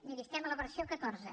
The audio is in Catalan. miri estem a la versió catorze